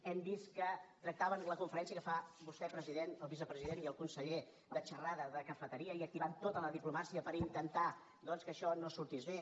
hem vist que tractaven la conferència que van fer vostè president el vicepresident i el conseller de xerrada de cafeteria i que activaven tota la diplomàcia per intentar que això no sortís bé